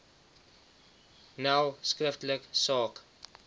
nel skriftelik saak